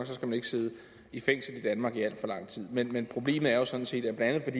så skal man ikke sidde i fængsel i danmark i alt for lang tid men men problemet er jo sådan set at